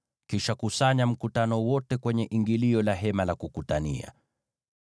Kisha kusanya mkutano wote kwenye ingilio la Hema la Kukutania.”